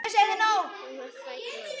Hún var fædd móðir.